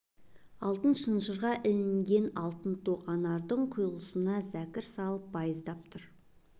алтын шынжырға ілінген алтын тоқ анардың құйылысына зәкір салып байыздап тұр